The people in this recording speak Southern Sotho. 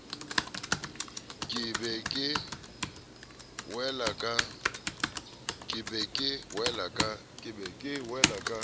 ke be ke wele ka